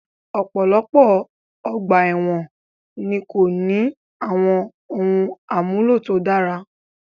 Ọ̀pọ̀lọpọ̀ ọgbà èwọ̀n ni kò ní àwọn ohun àmúlò tó dára